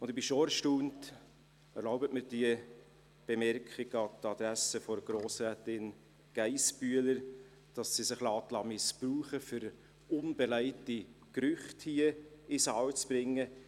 Und ich bin schon erstaunt – erlauben Sie mir diese Bemerkung an die Adresse von Grossrätin Geissbühler –, dass sie sich missbrauchen lässt, um unbelegte Gerüchte hier in den Saal zu bringen.